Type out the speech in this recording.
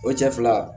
O cɛ fila